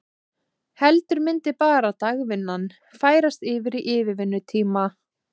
Heldur myndi bara dagvinnan færast yfir í yfirvinnutíma?